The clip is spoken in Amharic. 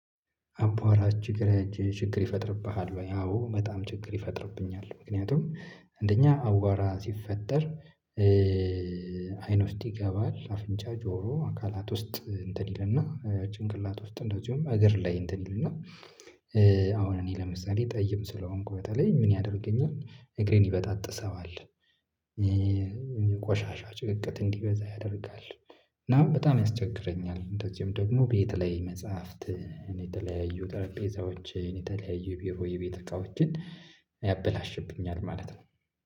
አቧራ ችግር ችግር ይፈጥርብሃል ወይ አዎ በጣም ችግር ይፈጥርብኛል ምክንያቱም እንደኛ አቧራ ሲፈጠር አይን ውስጥ ይገባል አፍንጫ ጆሮ አካላት ውስጥ እንትን ይልና ጭንቅላት ውስጥ እንደዚሁም እግር ላይ እንትን ይልና አሁን እኔ ለምሳሌ ጠይም ስለሆንኩ በተለይ ምን ያደርገኛል እግሬን ይበጣጥሰዋል ቆሻሻ ጭቅቅት እንዲበዛ ያደርጋል እና በጣም ያስቸግረኛል እንደዚሁም ደግሞ ቤት ላይ መጽሐፍት የተለያዩ ጠረጴዛዎችን የተለያዩ ቢሮ የቤት እቃዎችን ያበላሽብኛል ማለት ነው።